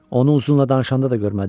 Onu uzunla danışanda da görmədin?